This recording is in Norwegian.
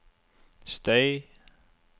støy